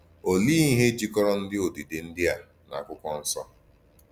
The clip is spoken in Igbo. Òlee íhè jikọrọ íhè òdídè ndí à na Àkwụ́kwọ̀ Nsọ?